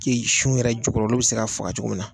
Keyi sun yɛrɛ jukɔrɔ olu bi se ka faga cogo min na.